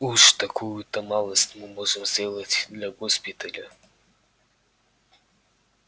уж такую-то малость мы можем сделать для госпиталя